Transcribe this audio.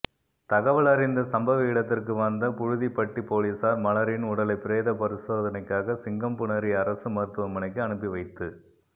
தகவலறிந்த சம்பவ இடத்திற்கு வந்த புழுதிப்பட்டி போலீசார் மலரின் உடலை பிரேத பரிசோதனைக்காக சிங்கம்புணரி அரசு மருத்துவமனைக்கு அனுப்பி வைத்து